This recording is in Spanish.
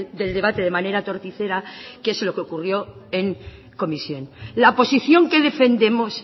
del debate de manera torticera que es lo que ocurrió en comisión la posición que defendemos